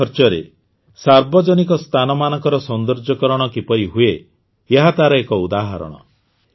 କମ୍ ଖର୍ଚ୍ଚରେ ସାର୍ବଜନିକ ସ୍ଥାନମାନଙ୍କର ସୌନ୍ଦର୍ଯୀକରଣ କିପରି ହୁଏ ଏହା ତାର ଏକ ଉଦାହରଣ